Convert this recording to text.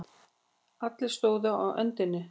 Allir stóðu á öndinni.